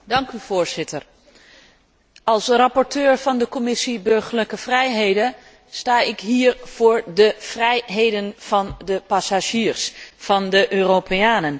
Voorzitter, als rapporteur van de Commissie burgerlijke vrijheden sta ik hier voor de vrijheden van de passagiers, van de Europeanen.